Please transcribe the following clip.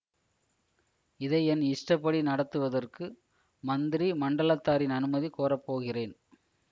இதை என் இஷ்டப்படி நடத்துவதற்கு மந்திரி மண்டலத்தாரின் அனுமதி கோரப் போகிறேன்